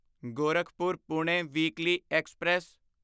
Gorakhpur Pune weekly express